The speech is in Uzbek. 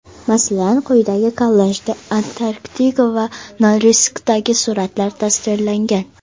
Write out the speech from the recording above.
Masalan, quyidagi kollajda Antraktida va Norilskdagi suratlar tasvirlangan.